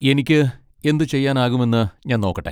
എനിക്ക് എന്തുചെയ്യാനാകുമെന്ന് ഞാൻ നോക്കട്ടെ.